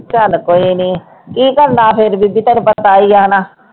ਚੱਲ ਕੋਈ ਨੀ ਕੀ ਕਰਨਾ ਫਿਰ ਬੀਬੀ ਤੈਨੂੰ ਪਤਾ ਹੀ ਆ ਨਾ।